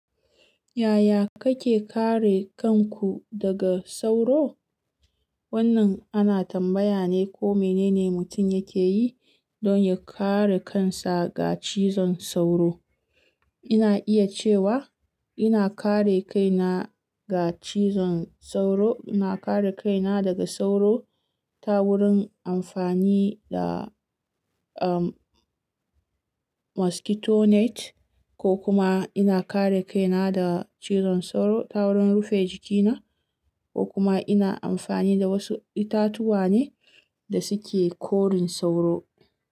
Yaya kake kare kanku daga sauro? Wannan ana tambaya ne ko menene mutum yake yi don ya kare kansa ga cizon sauro. Ina iya cewa ina kare kaina ga cizon sauro, ina kare kaina daga sauro ta wurin amfani da, um, mosquito net ko kuma ina kare kaina da cizon sauro ta wurin rufe jikina ko kuma ina amfani da wasu itatuwa ne da suke korin sauro.